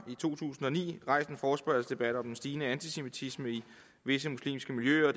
i to tusind og ni rejst en forespørgselsdebat om den stigende antisemitisme i visse muslimske miljøer og